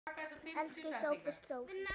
Elsku Sófus Þór.